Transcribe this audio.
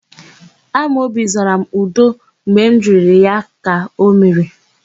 Amobi zara m, 'udo' mgbe m jụrụ ya ka o mere.